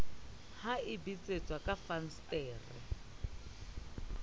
ha e betsetswa ka fensetere